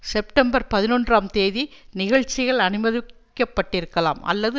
September பதினொன்றாம் தேதி நிகழ்ச்சிகள் அனுமதிக்கப்பட்டிருக்கலாம் அல்லது